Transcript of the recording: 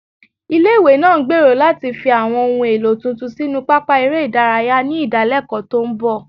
Ilé-ìwé náà ń gbèrò láti fi àwọn ohun èlò tuntun sínú pápá eré ìdárayá ní ìdálẹ́kọ̀ọ́ tó ń bọ̀